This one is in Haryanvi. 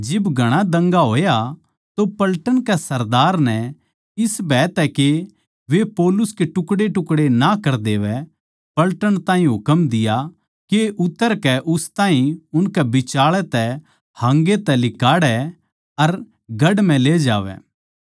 जिब घणा दंगा होया तो पलटन के सरदार नै इस भय तै के वे पौलुस के टुकड़ेटुकड़े ना कर देवै पलटन ताहीं हुकम दिया के उतरकै उस ताहीं उनकै बिचाळै तै हाँगै तै लिकाड़ै अर गढ़ म्ह ले जावै